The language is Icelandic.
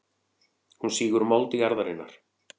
Hún sýgur mold jarðarinnar.